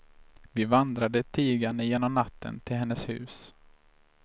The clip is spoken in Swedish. Vi vandrade tigande genom natten till hennes hus.